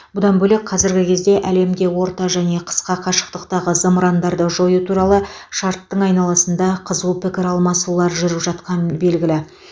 бұдан бөлек қазіргі кезде әлемде орта және қысқа қашықтықтағы зымырандарды жою туралы шарттың айналысында қызу пікір алмасулар жүріп жатқан белгілі